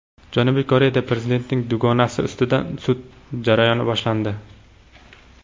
Janubiy Koreyada prezidentning dugonasi ustidan sud jarayoni boshlandi.